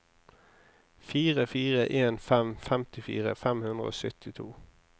fire fire en fem femtifire fem hundre og syttito